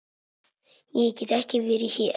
Ég get ekki verið hér.